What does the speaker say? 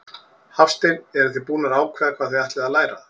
Hafsteinn: Eruð þið búnar að ákveða hvað þið ætlið að læra?